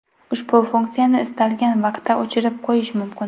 Ushbu funksiyani istalgan vaqtda o‘chirib qo‘yish mumkin.